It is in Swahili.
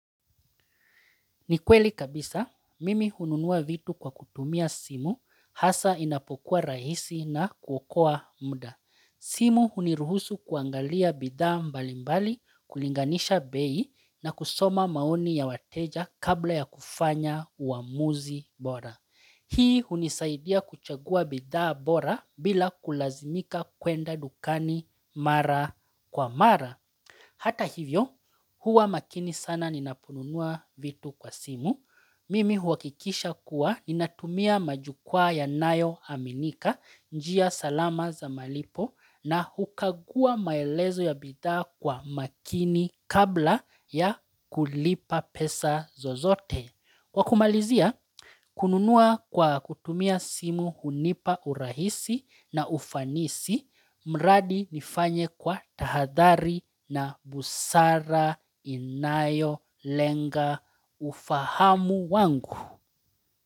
Ni kweli kabisa, mimi hununua vitu kwa kutumia simu, hasa inapokuwa rahisi na kuokoa muda. Simu huniruhusu kuangalia bidhaa mbalimbali, kulinganisha bei na kusoma maoni ya wateja kabla ya kufanya uamuzi bora. Hii hunisaidia kuchagua bidhaa bora bila kulazimika kwenda dukani mara kwa mara. Hata hivyo, huwa makini sana ninapununua vitu kwa simu. Mimi huakikisha kuwa ninatumia majukwaa yanayoaminika njia salama za malipo na hukagua maelezo ya bidhaa kwa makini kabla ya kulipa pesa zozote. Kwa kumalizia, kununua kwa kutumia simu hunipa urahisi na ufanisi, mradi nifanye kwa tahadhari na busara inayolenga ufahamu wangu.